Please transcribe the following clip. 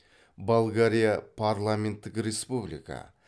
болгария парламенттік республика